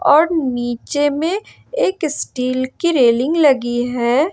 और नीचे में एक स्टील की रेलिंग लगी है।